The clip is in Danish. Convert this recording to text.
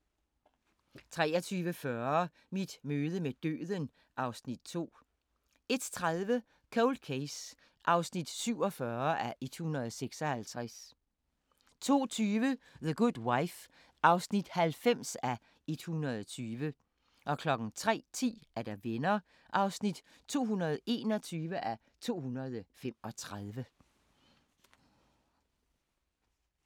23:40: Mit møde med døden (Afs. 2) 01:30: Cold Case (47:156) 02:20: The Good Wife (90:120) 03:10: Venner (221:235)